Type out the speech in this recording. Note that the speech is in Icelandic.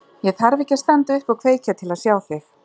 Ég þarf ekki að standa upp og kveikja til að sjá þig.